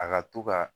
A ka to ka